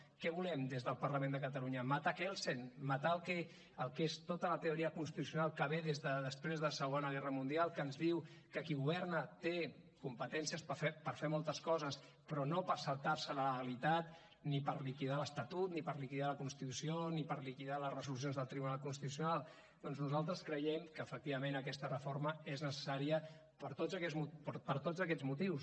què volem des del parlament de catalunya matar kelsen matar el que és tota la teoria constitucional que ve des de després de la segona guerra mundial que ens diu que qui governa té competències per fer moltes coses però no per saltar se la legalitat ni per liquidar l’estatut ni per liquidar la constitució ni per liquidar les resolucions del tribunal constitucional doncs nosaltres creiem que efectivament aquesta reforma és necessària per tots aquests motius